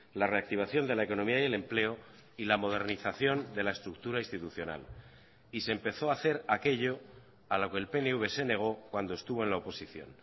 la reactivación de la economía y el empleo y la modernización de la estructura institucional y se empezó a hacer aquello a lo que el pnv se negó cuando estuvo en la oposición